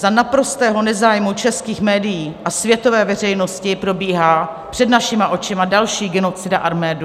Za naprostého nezájmu českých médií a světové veřejnosti probíhá před našima očima další genocida Arménů.